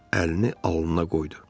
Əlini alnına qoydu.